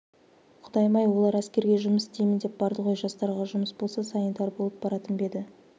құдайым-ай олар әскерге жұмыс істеймін деп барды ғой жастарға жұмыс болса санитар болып баратын ба еді